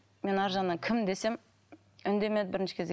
мен арғы жағынан кім десем үндемеді бірінші кезде